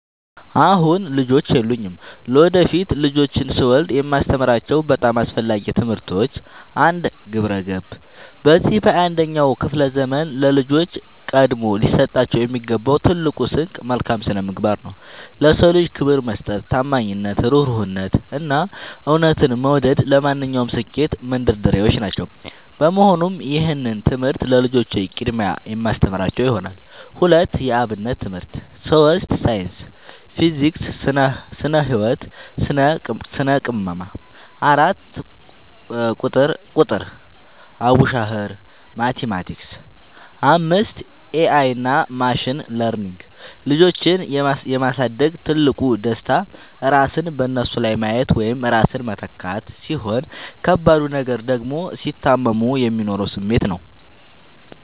አሁን ልጆች የሉኝም። ለወደፊት ልጆችን ስወልድ የማስተምራቸው በጣም አስፈላጊ ትምህርቶች፦ 1. ግብረ-ገብ፦ በዚህ በ 21ኛው ክፍለ ዘመን ለልጆች ቀድሞ ሊሰጣቸው የሚገባው ትልቁ ስንቅ መልካም ስነምግባር ነው። ለ ሰው ልጅ ክብር መስጠት፣ ታማኝነት፣ እሩህሩህነት፣ እና እውነትን መውደድ ለማንኛውም ስኬት መንደርደሪያዎች ናቸው። በመሆኑም ይህንን ትምህርት ለልጆቼ በቅድሚያ የማስተምራቸው ይሆናል። 2. የ አብነት ትምህርት 3. ሳይንስ (ፊዚክስ፣ ስነ - ህወት፣ ስነ - ቅመማ) 4. ቁጥር ( አቡሻኽር፣ ማቲማቲክስ ...) 5. ኤ አይ እና ማሽን ለርኒንግ ልጆችን የ ማሳደግ ትልቁ ደስታ ራስን በነሱ ላይ ማየት ወይም ራስን መተካት፣ ሲሆን ከባዱ ነገር ደግሞ ሲታመሙ የሚኖረው ስሜት ነው።